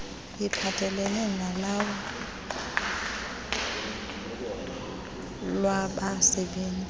iphathelelene nolawulo lwabasebenzi